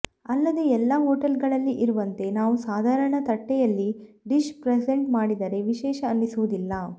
ಅಲ್ಲದೆ ಎಲ್ಲಾ ಹೋಟೆಲ್ಗಳಲ್ಲಿ ಇರುವಂತೆ ನಾವು ಸಾಧಾರಣ ತಟ್ಟೆಯಲ್ಲಿ ಡಿಶ್ ಪ್ರೆಸೆಂಟ್ ಮಾಡಿದರೆ ವಿಶೇಷ ಅನಿಸುವುದಿಲ್ಲ